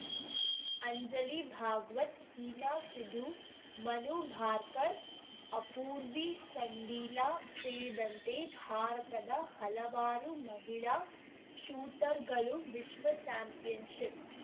ಅಂಜಲಿ ಭಾಗ್ವತ್‌ ಹೀನಾ ಸಿಧು ಮನು ಭಾರ್ಕರ್‌ ಅಪೂರ್ವಿ ಚಂಡೀಲಾ ಸೇರಿದಂತೆ ಭಾರತದ ಹಲವಾರು ಮಹಿಳಾ ಶೂಟರ್‌ಗಳು ವಿಶ್ವ ಚಾಂಪಿಯನ್‌ಶಿಪ್‌